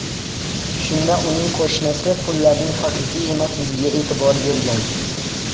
Shunda uning qo‘shnisi pullarning haqiqiy emasligiga e’tibor bergan.